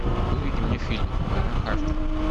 выведи мне фильм война харта